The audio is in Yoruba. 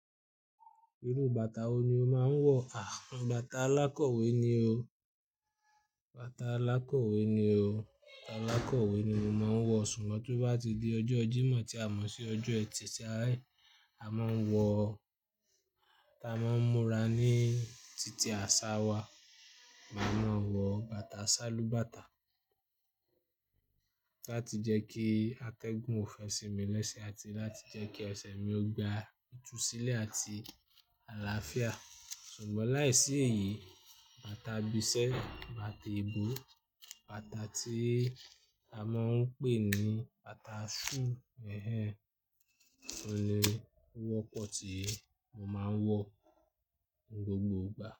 Irú bàtà wo ni o máa ń wọ? Awon bàtà alákọ̀wé ni o, bàtà alákọ̀wé ni o, bàtà alákọ̀wé ni mo máa ń wọ. Ṣùgbọ́n tí ó bá ti di ọjọ́ Jímọ̀ tí a mọ̀ sí ọjọ́ ẹtì tí a--- máa ń wọ, tí a mo ń múra ní títí àsá wá, màá máa wọ bàtà sálúbàtà láti jẹ́ kí atẹ́gùn ò fẹ́ sinmi lẹ́sẹ̀ àti láti jẹ́ kí ẹsẹ̀ mi ó gba ìtúsílẹ̀ àti àlàáfíà. Ṣùgbọ́n láìsí èyí, bàtà ibi isẹ́, bàtà eebò, bàtà tí a máa ń pè ní bàtà shoe, ẹhẹń, ọ̀un ni o wọ́pọ̀ tí mo máa ń wọ ní gbogbo ìgbà.